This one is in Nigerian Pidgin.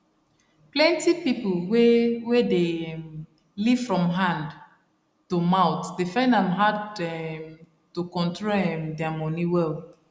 plenti pipo wey wey dey um live from hand to mouth dey find am hard um to control um dia moni well